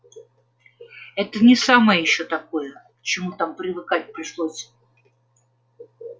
это не самое ещё такое к чему там привыкать пришлось